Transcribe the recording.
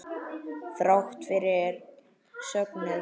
Þrátt fyrir söknuð.